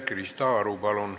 Krista Aru, palun!